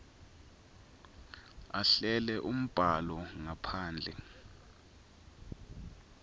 ahlele umbhalo ngaphandle